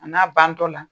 A n'a bantɔla